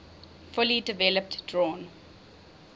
fully developed drawn